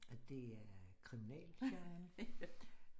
Det er kriminalgenrerne